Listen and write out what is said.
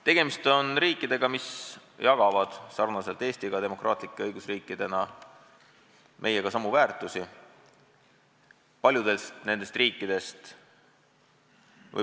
Tegemist on riikidega, mis jagavad demokraatlike õigusriikidena meiega samu väärtushinnanguid.